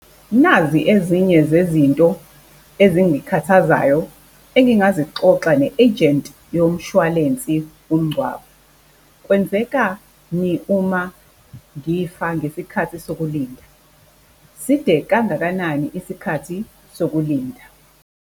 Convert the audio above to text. Nazi ezinye zezinto ezingikhathazayo engingazixoxa ne-agent yomshwalense womngcwabo, kwenzekani uma ngifa ngesikhathi sokulinda? Side kangakanani isikhathi sokulinda?